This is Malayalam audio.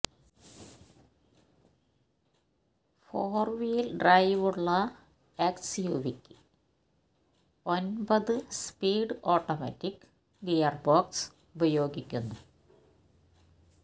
ഫോര് വീല് ഡ്രൈവുള്ള എസ്യുവിയ്ക്ക് ഒമ്പത് സ്പീഡ് ഓട്ടോമാറ്റിക് ഗീയര്ബോക്സ് ഉപയോഗിക്കുന്നു